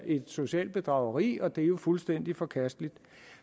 et socialt bedrageri og det er jo fuldstændig forkasteligt